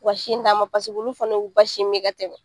Wa ka sin d'a ma olu fana y'u ba sin min ka tɛmɛ